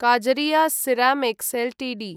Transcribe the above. Kajaria ceramics Ltd